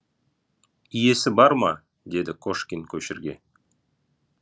иесі бар ма деді кошкин көшірге